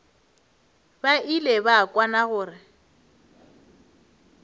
ba ile ba kwana gore